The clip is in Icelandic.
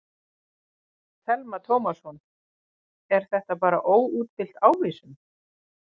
Telma Tómasson: Er þetta bara óútfyllt ávísun?